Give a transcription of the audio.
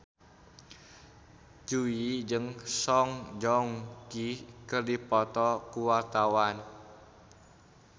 Jui jeung Song Joong Ki keur dipoto ku wartawan